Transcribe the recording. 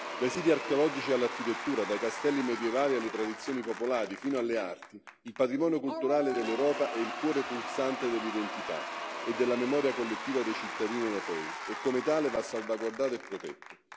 Dai siti archeologici all'architettura, dai castelli medievali alle tradizioni popolari, fino alle arti, il patrimonio culturale dell'Europa è il cuore pulsante dell'identità e della memoria collettiva dei cittadini europei e come tale va salvaguardato e protetto.